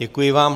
Děkuji vám.